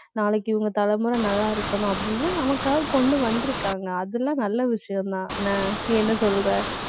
நாளைக்கு இவங்க தலைமுறை நல்லா இருக்கணும் அப்படின்னு நமக்காக கொண்டு வந்திருக்காங்க. அதுல நல்ல விஷயம்தான் ~ன்ன நீ என்ன சொல்ற